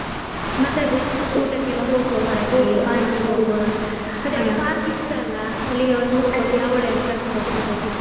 ಮತ್ತೆ ಅದೇ ಊಟಕ್ಕೆಲ್ಲಾ ಹೋಗುವಾ park ಹಾ ಹೋಗುವಾ ಇಷ್ಟ ಅಲ್ವಾ ಅವಳೇ ಎಲ್ಲಾ ಕರ್ಕೊಂಡು ಹೋಗ್ತಿದ್ದದ್ದು.